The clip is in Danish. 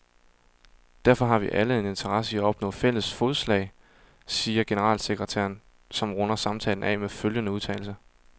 Derfor har vi alle en interesse i at opnå fælles fodslag, siger generalsekretæren, som runder samtalen af med følgende udtalelse.